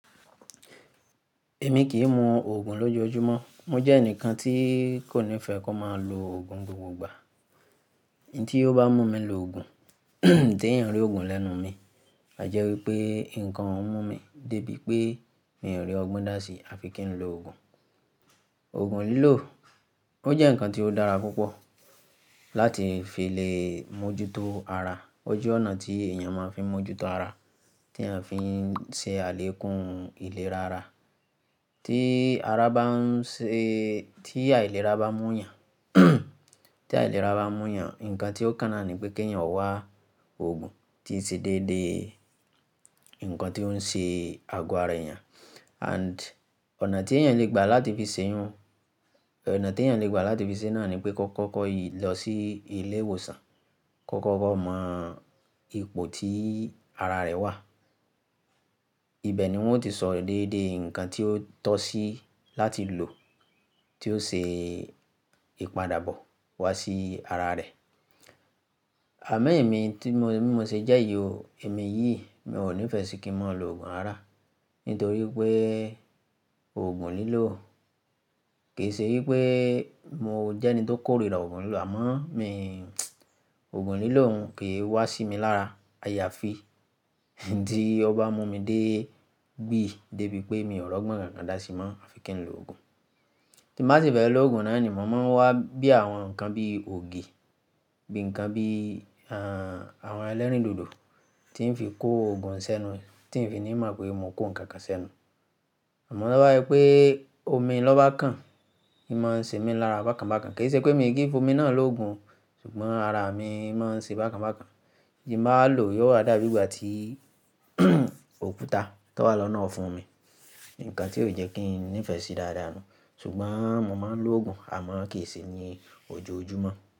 Èmi kì í mu òògùn lójoojúmọ́. Mo jẹ́ ẹnìkan tí kò nífẹ̀ẹ́ kó máa lo òògùn gbogbo ìgbà. Tí ó bá mú mi lo òògùn, tí èèyàn rí òògùn lẹ́nu mi, àjẹ́ wípé nǹkan oun mú mi débí pé mi ò rí ọgbọ́n dá sí àfi kí n lo òògùn. Òògùn lílò, ó jẹ́ ǹkan tí ó dára púpọ̀ láti fi lè mójútó ara. Ó jẹ́ ọ̀nà tí èèyàn máa ń fi mójútó ara, tí èèyàn fi ń ṣe àlékún ìlera ara. Tí ara bá ń ṣe-- tí àìlera bá mú'yàn, tí àìlera bá mú'yàn, ǹkan tí ó kàn nà ni pé kí èèyàn wá òògùn tí ṣe déédé ǹkan tí ó ń ṣe ago ára èèyàn. And ọ̀nà tí èèyàn lè gbà láti fi ṣẹ́yún, ọ̀nà tí èèyàn lè gbà láti fi ṣẹ́yún náà ni pé kó kọ́kọ́ lọ sí ilé ìwòsàn, kó kọ́kọ́ mọ ipò tí ara rẹ̀ wà. Ibẹ̀ ni wọ́n ó ti so déédé ǹkan tí ó tọ́ sí láti lò, tí ó ṣe ìpadàbọ̀ wá sí ara rẹ̀. Àmo emí tí mo, bí mo ṣe jẹ́ yi o, èmi yìí, mi ò nífẹ̀ẹ́ si kí n mo lo òògùn rara nítorí pé òògùn lílò kì í ṣe wípé mo jẹ́ ẹni tó kórìíra òògùn lílò àmọ́ mi, òògùn lílò òun kì í wá sí mi lára. A yà fi. Tí ó bá mú mi dé gbìí débí pé mi ò r'ọgbọ́n kànkan dá sí i mọ́ à fi kí n lo òògùn. Tí n bàá sì fẹ́ lo òògùn náà ni mò máa ń wá bí àwọn ǹkan bí ògì, bí ǹkan bí, àh, àwọn ẹlẹ́rìndòdò tí ń fi kó òògùn ṣẹ́nu, tí ń fi ní mọ̀ pé mò ń kó ǹkan kan ṣẹ́nu. Àmọ́ to ba ẹ pé omi lọ́ bá kan, ì máa ń ṣe mí lára bákan bákan. Kì í ṣe pé mi kìí fo omi náà lòògùn ṣùgbọ́n ara mi máa ń ṣe bákan bákan. Tí nbà wá lò yóò wa dábí ìgbà tí òkúta tó wà lọ́nà fún mi. Ǹkan tí ó jẹ́ kí n nífẹ̀ẹ́ ṣe dáadáa nu. Ṣùgbọ́n mò máa ń lo òògùn àmọ́ kì í ṣe ní ojoojúmọ́.